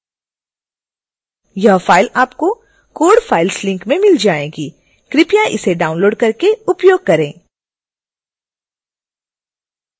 यह फ़ाइल आपको code files link में मिल जाएगी कृपया इसे डाउनलोड करके उपयोग करें